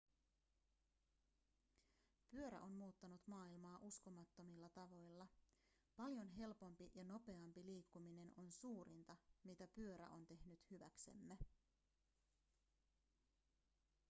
pyörä on muuttanut maailmaa uskomattomilla tavoilla paljon helpompi ja nopeampi liikkuminen on suurinta mitä pyörä on tehnyt hyväksemme